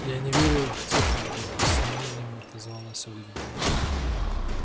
я не верю в технику с сомнением отозвалась ольга